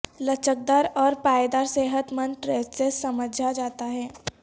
لچکدار اور پائیدار صحت مند ٹریسسیس سمجھا جاتا ہے